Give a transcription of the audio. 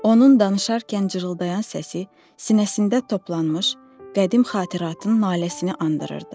Onun danışarkən cırıldayan səsi sinəsində toplanmış qədim xatiratın naləsini andırırdı.